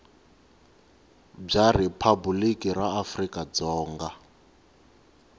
bya riphabuliki ra afrika dzonga